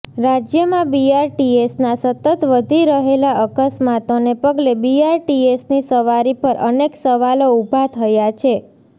રાજ્યમાં બીઆરટીએસના સતત વધી રહેલા અકસ્માતોને પગલે બીઆરટીએસની સવારી પર અનેક સવાલો ઉભા થયા છે